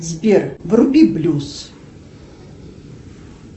сбер вруби блюз